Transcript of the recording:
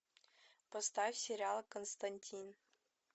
поставь сериал константин